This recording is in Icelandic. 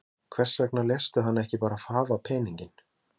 Björn Þorláksson: Hvers vegna léstu hann ekki bara hafa peninginn?